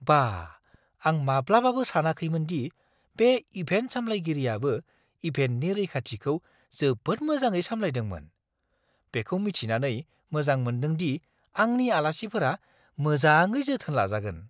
बाह, आं माब्लाबाबो सानाखैमोन दि बे इभेन्ट सामलायगिरियाबो इभेन्टनि रैखाथिखौ जोबोद मोजाङै सामलायदोंमोन। बेखौ मिथिनानै मोजां मोन्दोंदि आंनि आलासिफोरा मोजाङै जोथोन लाजागोन।